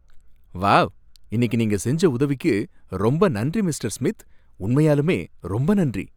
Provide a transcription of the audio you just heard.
Wow! இன்னிக்கு நீங்க செஞ்ச உதவிக்கு ரொம்ப நன்றி மிஸ்டர் ஸ்மித். உண்மையாலுமே ரொம்ப நன்றி!